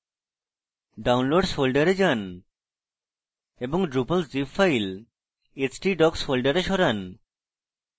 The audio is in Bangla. downloads folder যান এবং drupal zip file htdocs folder সরান